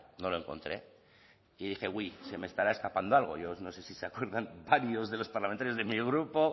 no lo encontré y dije uy se me estará escapando algo yo no sé si se acuerdan varios de los parlamentarios de mi grupo